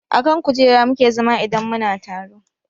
A kan kujera mu ke zama idan mu na taro